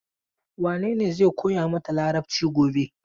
Wane ne zai koya mata Larabci gobe?